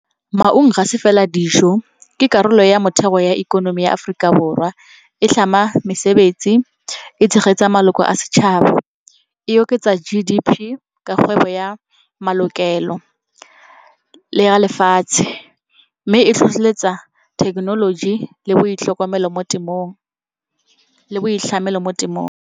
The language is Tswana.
Maungo ga se fela dijo ke karolo ya motheo ya ikonomi ya Aforika Borwa e tlhama mesebetsi, e tshegetsa maloko a setšhaba, e oketsa G_D_P ka kgwebo ya malokelo le a lefatshe. Mme e tlhotlheletsa thekenoloji le boitlhamelo mo temong.